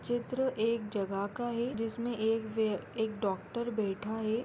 चित्र एक जगह का है जिसमे एक व एक डॉक्टर बैठा है।